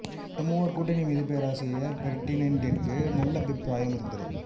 இந்த மூவர் கூட்டணி மீது பேராசிரியர் பெர்டிணென்டிற்கு நல்லபிப்ராயம் இருந்தது